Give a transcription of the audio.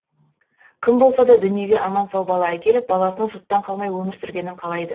кім болса да дүниеге аман сау бала әкеліп баласының жұрттан қалмай өмір сүргенін қалайды